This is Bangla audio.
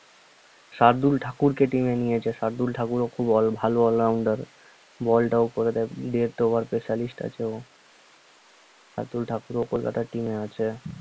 শার্দুল ঠাকুরকে team এ নিয়েছে শার্দুল ঠাকুরও খুব অল~ ভালো all rounder ball টাও করে দেয় death over specialist আছে ও এ শার্দুল ঠাকুরও কোলকাতার team এ আছে